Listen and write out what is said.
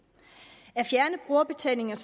er